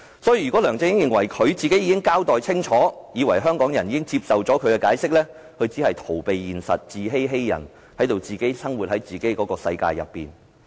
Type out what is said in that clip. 所以，如果梁振英認為他已經交代清楚，香港人亦已經接受他的解釋，他只是逃避現實、自欺欺人，活在自己的世界裏。